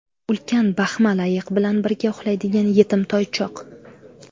Ulkan baxmal ayiq bilan birga uxlaydigan yetim toychoq.